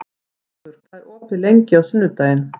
Gaukur, hvað er opið lengi á sunnudaginn?